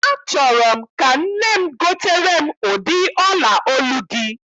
Achọrọ m ka nne m gotere m ụdị ọla olu gị.